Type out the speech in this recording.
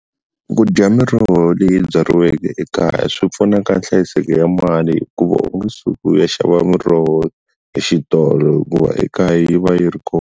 Ku dya miroho leyi byariweke ekaya swi pfuna ka nhlayiseko ya mali hikuva u nge suki u ya xava muroho exitolo hikuva ekaya yi va yi ri kona.